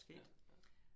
Ja. Ja